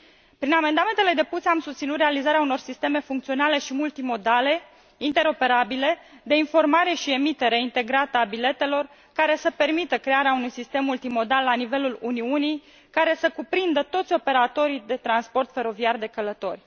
Prin amendamentele depuse am susținut realizarea unor sisteme funcționale și multimodale, interoperabile, de informare și emitere integrată a biletelor, care să permită crearea unui sistem multimodal la nivelul Uniunii, care să cuprindă toți operatorii de transport feroviar de călători.